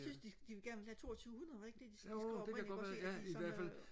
jeg synes de de ville gerne have toogtyvehundrede var det ikke det de skrev oprindeligt